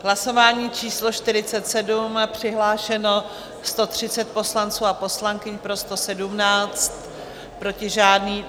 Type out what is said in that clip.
Hlasování číslo 47, přihlášeno 130 poslanců a poslankyň, pro 117, proti žádný.